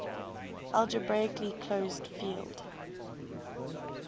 algebraically closed field